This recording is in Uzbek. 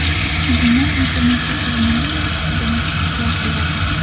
Odamlar Internetda koronavirus haqida maslahatlar beradi.